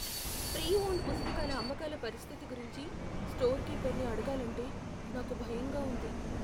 Pre owned పుస్తకాల అమ్మకాల పరిస్థితి గురించి స్టోర్ కీపర్ని అడగాలంటే నాకు భయంగా ఉంది.